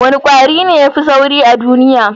Wane kwari ne ya fi sauri a duniya?